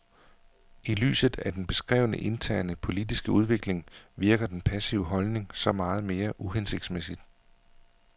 I lyset af den beskrevne interne politiske udvikling virker den passive holdning så meget mere uhensigsmæssig.